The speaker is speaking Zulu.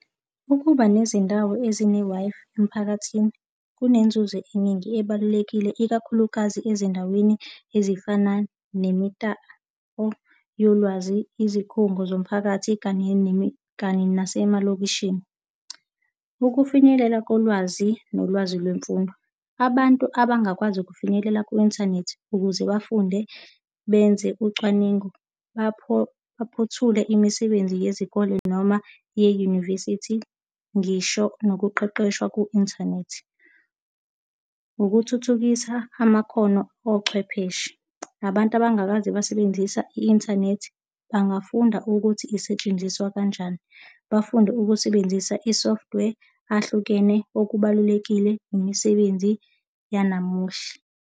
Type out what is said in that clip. Ukuba nezindawo ezine-Wi-Fi emphakathini kunenzuzo eningi ebalulekile, ikakhulukazi ezindaweni ezifana nemitapo yolwazi, izikhungo zomphakathi, kanye kanye nasemalokishini. Ukufinyelela kolwazi nolwazi lwemfundo. Abantu abangakwazi ukufinyelela ku-inthanethi ukuze bafunde benze ucwaningo, baphothule imisebenzi yezikole noma ye-university ngisho nokuqeqeshwa ku-inthanethi. Ukuthuthukisa amakhono ochwepheshe. Abantu abangakaze basebenzisa i-inthanethi bangafunda ukuthi isetshenziswa kanjani, bafunde ukusebenzisa i-software ahlukene okubalulekile imisebenzi yanamuhla.